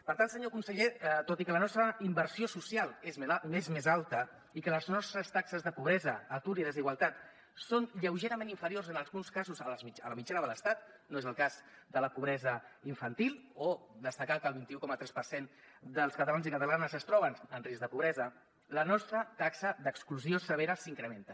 per tant senyor conseller tot i que la nostra inversió social és més alta i que les nostres taxes de pobresa atur i desigualtat són lleugerament inferiors en alguns casos a la mitjana de l’estat no és el cas de la pobresa infantil o destacar que el vint un coma tres per cent dels catalans i catalanes es troben en risc de pobresa la nostra taxa d’exclusió severa s’incrementa